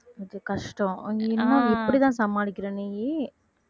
அது கஷ்டம் நீயெல்லாம் எப்படித்தான் சமாளிக்கிற நீ